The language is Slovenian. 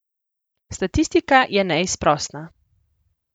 Statistika je neizprosna.